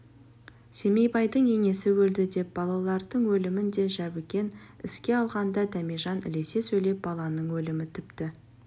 семейбайдың енесі өлді деп балалардың өлімін де жәбікен еске алғанда дәмежан ілесе сөйлеп баланың өлімі тіпті